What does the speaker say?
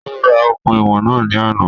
Ó ra okùn ìwọ̀n náà ní àná